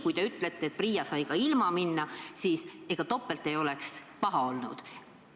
Kui te ütlete, et PRIA sai ka ilma volituseta kohtusse minna, siis ega topelt ei oleks ka paha olnud.